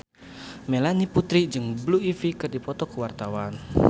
Melanie Putri jeung Blue Ivy keur dipoto ku wartawan